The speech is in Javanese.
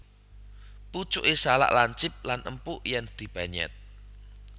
Pucuké salak lancip lan empuk yèn dipenyèt